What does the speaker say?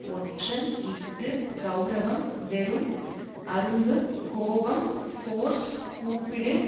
ஒற்றன் இஃது கெளரவம் வெறும் அரும்பு கோபம் ஃபோர்ஸ் கூப்பிடு